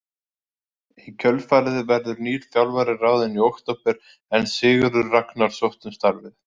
Í kjölfarið verður nýr þjálfari ráðinn í október en Sigurður Ragnar sótti um starfið.